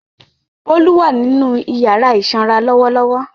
Bólú ni ó wà nínú ìyàrá ìsanra lọ́wọ́lọ́wọ́.